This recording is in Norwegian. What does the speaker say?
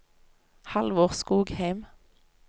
Halvor Skogheim